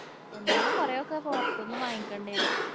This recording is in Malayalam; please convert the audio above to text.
എന്നാലും കൊറേയൊക്കെ പൊറത്ത്ന്ന് വാങ്ങിക്കൊണ്ടെരും.